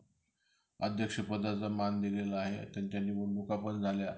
अध्यक्ष पदाचा मान दिलेला आहे त्यांच्या निवडणूक पण झाल्या.